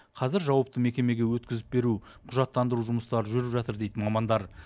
қазір жауапты мекемеге өткізіп беру құжаттандыру жұмыстары жүріп жатыр дейді мамандар